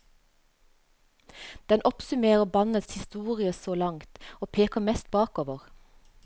Den oppsummerer bandets historie så langt, og peker mest bakover.